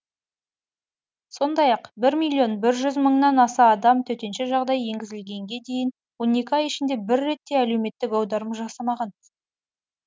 сондай ақ бір миллион бір жүз мыңнан аса адам төтенше жағдай енгізілгенге дейінгі он екі ай ішінде бір рет те әлеуметтік аударым жасамаған